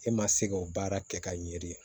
E ma se k'o baara kɛ ka ɲɛ de